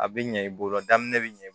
A bɛ ɲɛ i bolo daminɛ bɛ ɲɛ